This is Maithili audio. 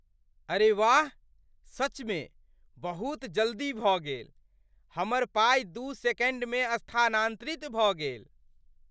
अरे वाह, सचमे बहुत जल्दी भऽ गेल। हमर पाइ दू सेकण्डमे स्थानान्तरित भऽ गेल।